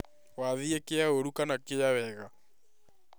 Wathiĩ kia ũru kana kĩa wega?